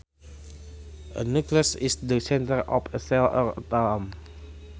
A nucleus is the center of a cell or atom